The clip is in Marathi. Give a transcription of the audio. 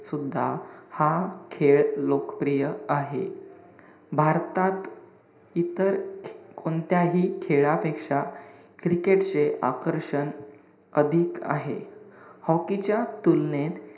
सुद्धा हा खेळ लोकप्रिय आहे. भारतात इतर कोणत्याही खेळापेक्षा cricket चे आकर्षण अधिक आहे. हॉकीच्या तुलनेत,